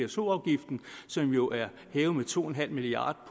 pso afgiften som jo er hævet med to en halv milliard